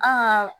Aa